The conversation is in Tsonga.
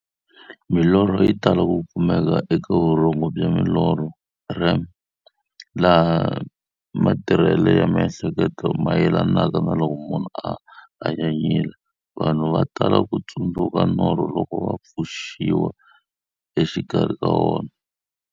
Milorho yi tala ku kumeka eka vurhongo bya milorho, REM, laha matirhele ya miehleketo mayelanaka na loko munhu a hanyanyile. Vanhu va tala ku tsundzuka norho loko va pfuxiwa exikarhi ka wona.